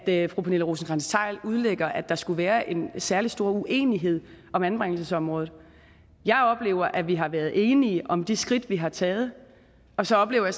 det fru pernille rosenkrantz theil udlægger at der skulle være en særlig stor uenighed om anbringelsesområdet jeg oplever at vi har været enige om de skridt vi har taget og så oplever